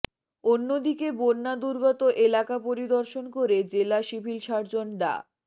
অন্যদিকে বন্যা দুর্গত এলাকা পরিদর্শন করে জেলা সিভিল সার্জন ডা